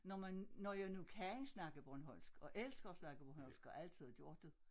Når man når jeg nu kan snakke bornholmsk og elsker at snakke bornholsmk og altid har gjort det